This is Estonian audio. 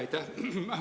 Aitäh!